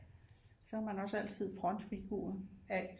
Så er man også altid frontfigur